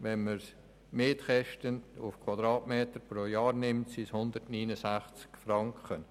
Wenn man die Mietkosten für einen Quadratmeter pro Jahr berechnet, kommt man auf 169 Franken.